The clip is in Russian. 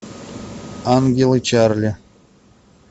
ангелы чарли